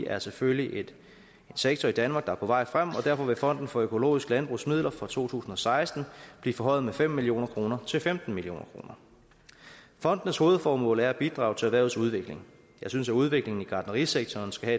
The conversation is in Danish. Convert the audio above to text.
er selvfølgelig en sektor i danmark der er på vej frem i og derfor vil fonden for økologisk landbrugs midler fra to tusind og seksten blive forhøjet med fem million kroner til femten million kroner fondenes hovedformål er at bidrage til erhvervets udvikling jeg synes at udviklingen i gartnerisektoren skal